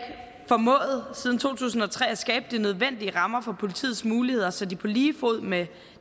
formået siden to tusind og tre at skabe de nødvendige rammer for politiets muligheder så de på lige fod med